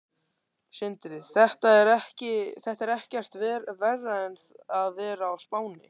Sindri: Þetta er ekkert verra en að vera á Spáni?